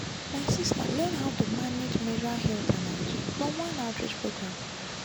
my sister learn how to manage menstrual health and hygiene from one outreach program.